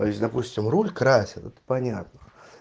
а если допустим руль красят это понятно